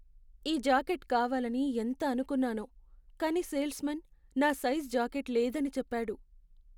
ఈ జాకెట్ కావాలని ఎంత అనుకున్నానో, కానీ సేల్స్మాన్ నా సైజు జాకెట్ లేదని చెప్పాడు.